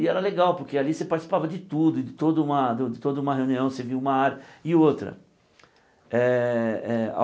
E era legal, porque ali você participava de tudo, de toda uma de toda uma reunião você via uma área e outra eh eh.